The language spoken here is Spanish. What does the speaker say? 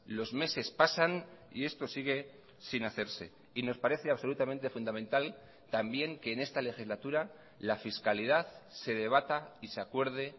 los meses pasan y esto sigue sin hacerse y nos parece absolutamente fundamental también que en esta legislatura la fiscalidad se debata y se acuerde